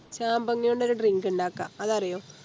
ചാമ്പങ്ങ കൊണ്ടൊരു Drink ഇണ്ടാക്കാം അതറിയോ